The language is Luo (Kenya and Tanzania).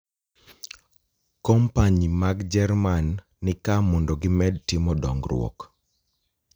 Kompanyi mag Jerman ni ka mondo gimed timo dongruok.